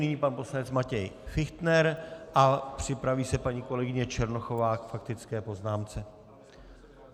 Nyní pan poslanec Matěj Fichtner a připraví se paní kolegyně Černochová k faktické poznámce.